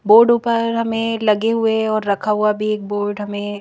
board ऊपर हमें लगे हुए और रखा हुआ भी एक बोर्ड हमें--